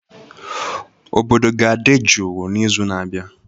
Obodo ga-adị jụụ n'izu na-abịa